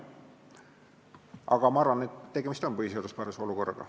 Aga ma arvan, et tegemist on põhiseaduspärase olukorraga.